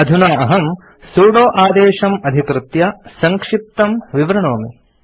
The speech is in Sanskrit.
अधुना अहम् सुदो आदेशम् अधिकृत्य सङ्क्षिप्तं विवृणोमि